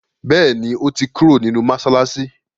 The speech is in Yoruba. béèni o to kúrò nínú masalasi.